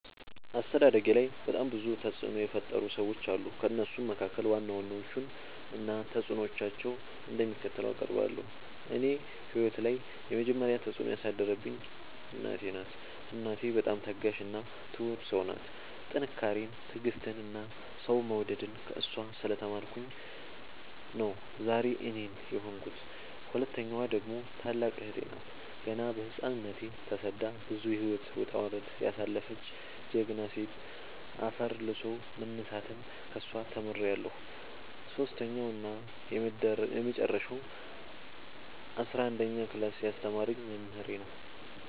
አስተዳደጌላይ በጣም ብዙ ተፅዕኖ የፈጠሩ ሰዎች አሉ። ከእነሱም መካከል ዋና ዋናዎቹን እና ተፅዕኖቸው እንደሚከተለው አቀርባለሁ። እኔ ህይወት ላይ የመጀመሪ ተፅዕኖ ያሳደረችብኝ እናቴ ናት። እናቴ በጣም ታጋሽ እና ትሁት ሰው ናት ጥንካሬን ትዕግስትን እና ሰው መውደድን ከእሷ ስለ ተማርኩኝ ነው ዛሬ እኔን የሆንኩት። ሁለተኛዋ ደግሞ ታላቅ እህቴ ናት ገና በህፃንነቶ ተሰዳ ብዙ የህይወት ወጣውረድ ያሳለፈች ጀግና ሴት አፈር ልሶ መነሳትን ከሷ ተምሬለሁ። ሰሶስተኛው እና የመጀረሻው አስረአንደኛ ክላስ ያስተማረኝ መምህሬ ነው።